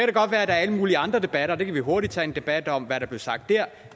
det godt være at der er alle mulige andre debatter og vi kan hurtigt tage en debat om hvad der blev sagt der